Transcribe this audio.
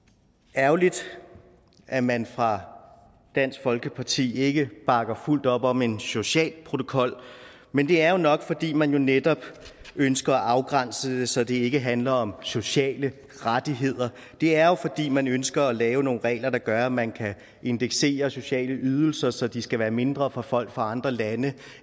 er ærgerligt at man fra dansk folkepartis side ikke bakker fuldt op om en social protokol men det er jo nok fordi man netop ønsker at afgrænse det så det ikke handler om sociale rettigheder det er jo fordi man ønsker at lave nogle regler der gør at man kan indeksere sociale ydelser så de skal være mindre for folk fra andre lande